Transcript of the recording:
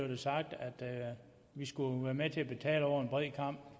det sagt at vi skulle være med til at betale over en bred kam